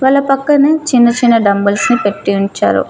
వాళ్ళ పక్కనే చిన్న చిన్న డంబుల్స్ నీ పెట్టీ ఉంచారు.